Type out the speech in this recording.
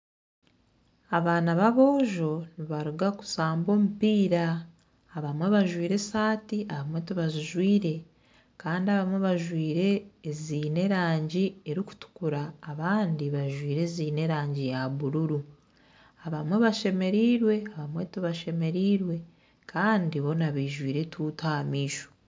Abaana b'aboojo nibaruga kushamba omupiira. Abamwe bajwaire esaati abamwe tibazijwaire. Kandi abamwe bajwaire eziine erangi erikutukura abandi bajwaire eziine erangi ya bururu. Abamwe bashemereirwe abamwe tibashemereirwe kandi boona baijwire etuutu aha maisho.